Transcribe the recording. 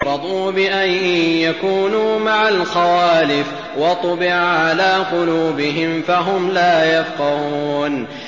رَضُوا بِأَن يَكُونُوا مَعَ الْخَوَالِفِ وَطُبِعَ عَلَىٰ قُلُوبِهِمْ فَهُمْ لَا يَفْقَهُونَ